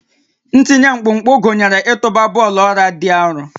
Ntinye mkpụmkpụ gụnyere ịtụba bọọlụ ọla dị arọ